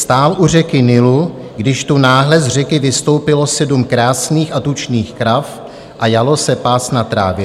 Stál u řeky Nilu, když tu náhle z řeky vystoupilo sedm krásných a tučných krav a jalo se pást na trávě.